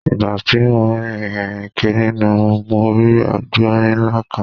Ìgbà tí mo ń rìn kiri nínú mo rí àgbọ̀rín ńlá kan.